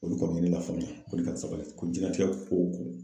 O de kama ne ba faamuya ko ni ko jiɲɛnatigɛ ko